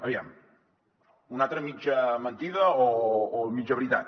aviam una altra mitja mentida o mitja veritat